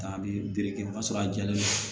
A bɛ bere kɛ o y'a sɔrɔ a jɛlen non